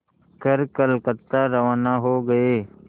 कर कलकत्ता रवाना हो गए